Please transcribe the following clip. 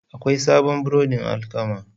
Akwai sabon burodin alkama.